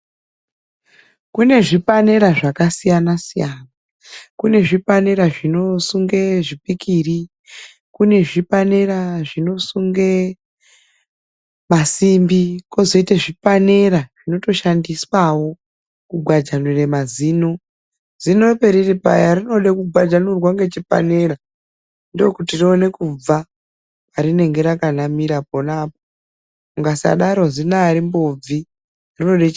Kune zvipanera zvakasiyana siyana kune zvipanera zvinosunge zvipikiri, kune zvipanera zvinosunge masimbi, kozoita zvipanera zvinotoshandiswawo kugwajanura mazino. zino periri paya rinode kugwajanurwa ngechipanera ndokuti rione kubva parinenge rakanamira pona apapo mukasadaro zino arimbobvi rinotode chipanera